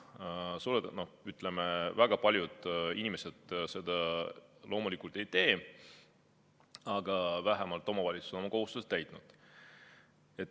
Väga paljud inimesed seda loomulikult ei tee, aga vähemalt omavalitsused on oma kohustuse täitnud.